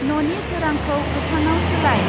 ननि सोरांखौ गोथांआव सोलाय।